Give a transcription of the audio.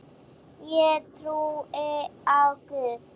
Ég trúi á Guð!